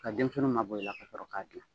Ka denmisɛnninw ma bɔ i la ka sɔrɔ k'a dilan